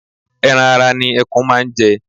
Ẹran ara ni ẹkún máa ń jẹ.